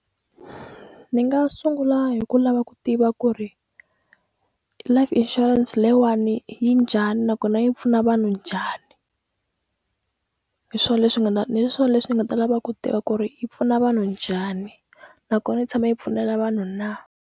Ni nga sungula hi ku lava ku tiva ku ri life insurance leyiwani yi njhani nakona yi pfuna vanhu njhani hi swo leswi nga ni swo leswi ni nga ta lava ku tiva ku ri yi pfuna vanhu njhani nakona yi tshame yi pfunela vanhu na.